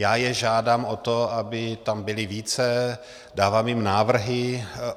Já je žádám o to, aby tam byli více, dávám jim návrhy.